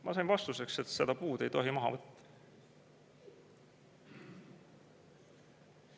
Ma sain vastuseks, et seda puud ei tohi maha võtta.